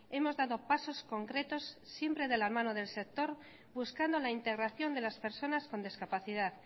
hemos dado pasos concretos siempre de la mano del sector buscando la integración de las personas con discapacidad